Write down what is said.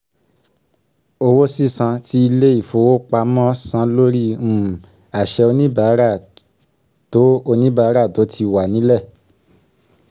owó sísan tí ilé ìfowopamọ́ san lórí um àṣẹ oníbàárà tó oníbàárà tóníbàárà tó ti wà ní lẹ̀